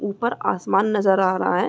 ऊपर आसमान नज़र आ रहा है।